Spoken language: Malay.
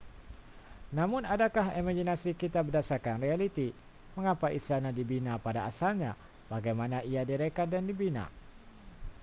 namun adakah imaginasi kita berdasarkan realiti mengapa istana dibina pada asalnya bagaimanakah ia direka dan dibina